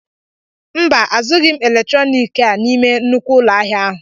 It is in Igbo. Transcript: Mba, azughi m eletroniki a n'ime nnukwu ụlọ ahịa ahụ